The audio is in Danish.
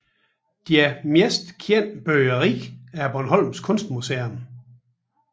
Deres mest kendte byggeri er Bornholms Kunstmuseum